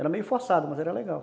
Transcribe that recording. Era meio forçado, mas era legal.